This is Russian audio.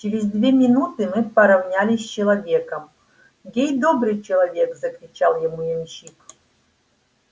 через две минуты мы поровнялись с человеком гей добрый человек закричал ему ямщик